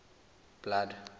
blood